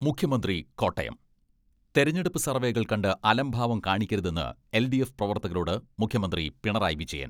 മുഖ്യമന്ത്രി കോട്ടയം തെരഞ്ഞെടുപ്പ് സർവേകൾ കണ്ട് അലംഭാവം കാണിക്കരുതെന്ന് എൽ.ഡി.എഫ് പ്രവർത്തകരോട് മുഖ്യമന്ത്രി പിണറായി വിജയൻ.